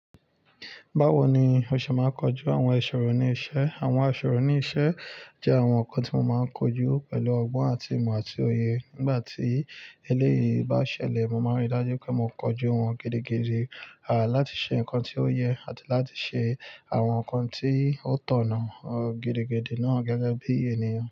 Báwo ni o ṣe máa ń kojú àwọn iṣọ̀rọ̀ ní iṣẹ́? Àwọn aṣọ̀rọ̀ ní iṣẹ́ jẹ́ àwọn nǹkan tí mo máa ń kojú pẹ̀lú ọgbọ́n àti ìmọ̀ àti òye. Nígbà tí eléyìí bá ṣẹlẹ̀, mo máa rí i dájú pé mo kojú wọn gidigidi, àti láti ṣe nǹkan tí ó yẹ àti láti ṣe àwọn nǹkan tí ó tọ̀nà gidigidi náà gẹ́gẹ́ bí ènìyàn.